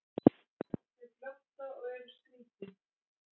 Þau glotta og eru skrítin.